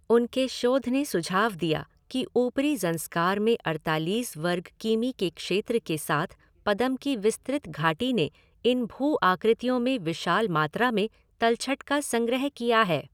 उनके शोध ने सुझाव दिया कि ऊपरी ज़ंस्कार में अड़तालीस वर्ग किमी के क्षेत्र के साथ पदम की विस्तृत घाटी ने इन भू आकृतियों में विशाल मात्रा में तलछट का संग्रह किया है।